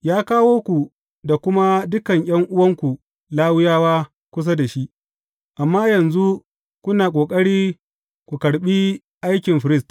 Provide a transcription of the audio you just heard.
Ya kawo ku da kuma dukan ’yan’uwanku Lawiyawa kusa da shi, amma yanzu kuna ƙoƙari ku karɓi aikin firist.